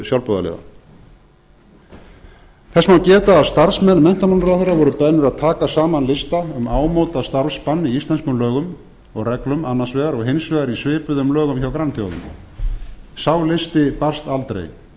sjálfboðaliða þess má geta að starfsmenn menntamálaráðherra voru beðnir að taka saman lista um ámóta starfsmann í íslenskum lögum og reglum annars vegar og hins vegar í svipuðum lögum hjá frambjóðendum sá listi barst aldrei